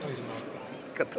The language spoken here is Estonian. Ikka tohib.